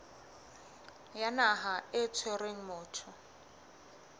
ya naha e tshwereng motho